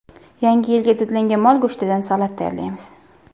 Yangi yilga dudlangan mol go‘shtidan salat tayyorlaymiz.